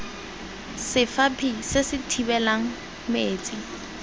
sefaphi se se thibelang metsi